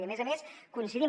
i a més a més coincidim